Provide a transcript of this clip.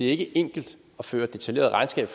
ikke enkelt at føre detaljeret regnskab